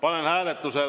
Aitäh!